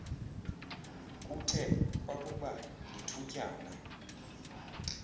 kuthe kwakuba lithutyana